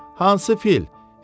Hansı fil?